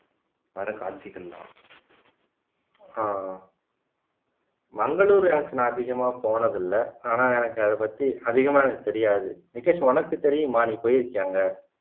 பட காட்சிகள்லலாம் ஆஹ் மங்களூரு அதுக்கு நான் அதிகமா போனது இல்ல ஆனா எனக்கு அதை பத்தி அதிகமா எனக்கு தெரியாது நித்தீஷ் உனக்கு தெரியுமா நீ போயிருக்கியா அங்க